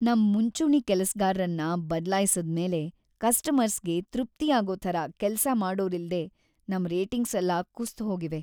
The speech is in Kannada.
ನಮ್ ಮುಂಚೂಣಿ ಕೆಲ್ಸಗಾರ್ರನ್ನ ಬದ್ಲಾಯ್ಸಿದ್ಮೇಲೆ ಕಸ್ಟಮರ್ಸ್‌ಗೆ ತೃಪ್ತಿಯಾಗೋ ಥರ ಕೆಲ್ಸ ಮಾಡೋರಿಲ್ದೇ ನಮ್ ರೇಟಿಂಗ್ಸೆಲ್ಲ ಕುಸ್ದ್‌ಹೋಗಿವೆ.